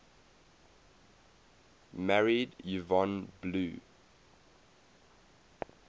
married yvonne blue